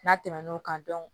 N'a tɛmɛn'o kan